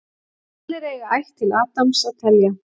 Allir eiga ætt til Adams að telja.